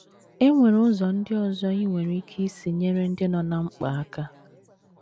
E nwere ụzọ ndị ọzọ i nwere ike isi nyere ndị nọ ná mkpa aka.